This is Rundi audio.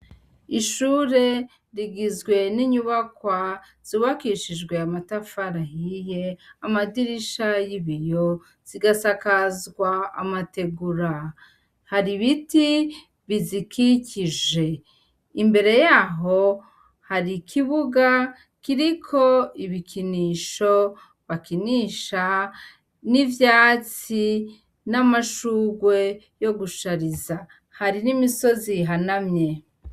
Ishure rigizwe n' inyubakwa z'ubakishijw' amatafar' ahiye, amadirisha yibiyo, zigasakazw' amatigura, har' ibiti bizikikije, imbere yaho har' ikibuga kirik' ibikinisho bakinisha, n' ivyatsi n' amashurwe yo gushariza, hari n' imisoz'ihanamye.